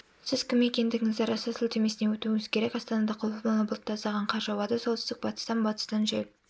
сіз кім екендігіңізді растау сілтемесіне өтуіңіз керек астанада құбылмалы бұлтты аздаған қар жауады солтүстік-батыстан батыстан жел